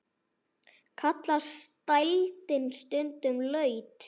Kallast dældin stundum laut.